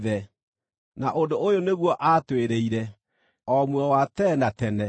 Na ũndũ ũyũ nĩguo atwĩrĩire: o muoyo wa tene na tene.